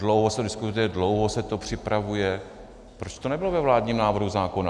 Dlouho se diskutuje, dlouho se to připravuje - proč to nebylo ve vládním návrhu zákona?